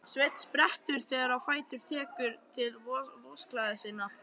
Sveinn sprettur þegar á fætur og tekur til vosklæða sinna.